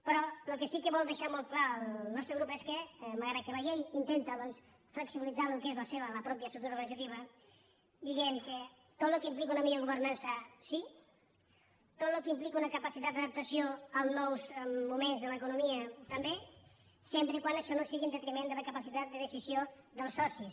però el que sí que vol deixar molt clar el nostre grup és que malgrat que la llei intenta doncs flexibilitzar el que és la pròpia estructura organitzativa diguem que tot el que implica una millor governança sí tot el que implica una capacitat d’adaptació als nous moments de l’economia també sempre que això no sigui en detriment de la capacitat de decisió dels socis